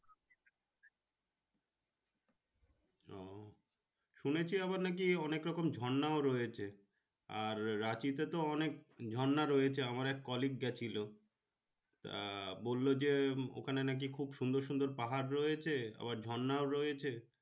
শুনে ছি আবার নাকি অনেক রকম ঝর্ণা ও রয়েছে আর রাঁচি তে তো অনেক রকম ঝর্ণা ও রয়েছে আমার এক colleague গাছে আহ বললো যে ওখানে নাকি সুন্দর সুন্দর পাহাড় রয়েছে আবার ঝর্ণা ও রয়েছে।